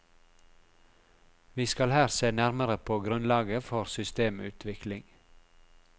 Vi skal her se nærmere på grunnlaget for systemutvikling.